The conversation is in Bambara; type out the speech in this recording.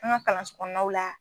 An ga kalansokɔnɔnaw la